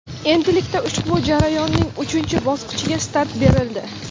Endilikda ushbu jarayonning uchinchi bosqichiga start berildi.